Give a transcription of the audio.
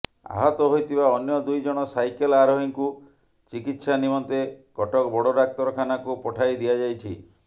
ଆହତ ହୋଇଥିବା ଅନ୍ୟ ଦୁଇ ଜଣ ସାଇକେଲ୍ ଆରୋହୀଙ୍କୁ ଚିକିତ୍ସା ନିମନ୍ତେ କଟକ ବଡ଼ ଡାକ୍ତରଖାନାକୁ ପଠାଇ ଦିଆଯାଇଛି